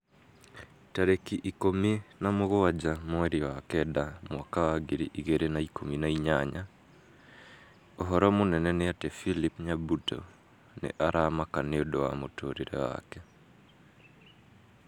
Tarĩki ikũmi na mugwanja mweri wa kenda mwaka wa ngiri igĩrĩ na ikũmi na inyanya ũhoro mũnene nĩ ati philip nyabuto nĩ aramaka nĩũndũ wa mũtũrĩre wake